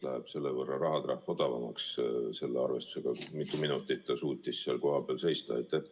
Kas siis selle võrra läheb rahatrahv odavamaks, selle arvestusega, kui mitu minutit ta suutis seal koha peal seista?